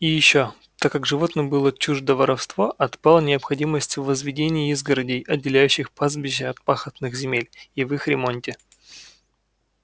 и ещё так как животным было чуждо воровство отпала необходимость и в возведении изгородей отделяющих пастбища от пахотных земель и в их ремонте